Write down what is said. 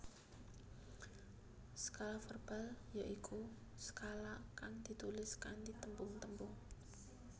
Skala verbal ya iku skala kang ditulis kanthi tembung tembung